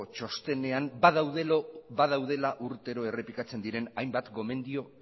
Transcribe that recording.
txostenean badaudela urtero errepikatzen diren hainbat gomendio